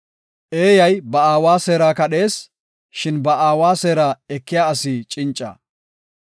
Eeyi ba aawa seera kadhees; shin ba aawa seera ekiya asi cinca.